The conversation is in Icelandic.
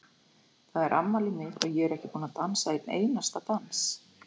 Það er afmælið mitt og ég er ekki búin að dansa einn einasta dans